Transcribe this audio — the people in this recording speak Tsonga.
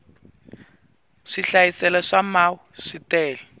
swihlayiselo swa mau swi tele